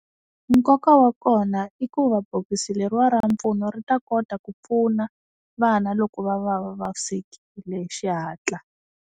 Nkoka wa kona i ku va bokisi leri wa ra mpfuno ri ta kota ku pfuna, vana loko va va va vavisekile hi xi hatla.